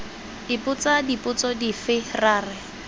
ipotsa dipotso dife ra re